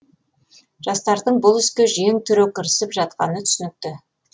жастардың бұл іске жең түре кірісіп жатқаны түсінікті